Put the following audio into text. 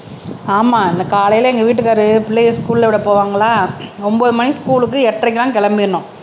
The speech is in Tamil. ஆமா இந்த காலையில எங்க வீட்டுக்காரு பிள்ளையை ஸ்கூல்ல விட போவாங்களா ஒன்பது மணிக்கு ஸ்கூல்க்கு எட்டரைக்கெல்லாம் கிளம்பிறணும்